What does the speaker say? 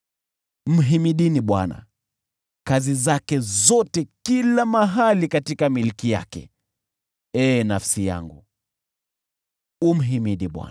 Mhimidini Bwana , kazi zake zote kila mahali katika milki yake. Ee nafsi yangu, umhimidi Bwana .